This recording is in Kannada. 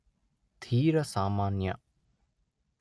ತೀರ ಸಾಮಾನ್ಯ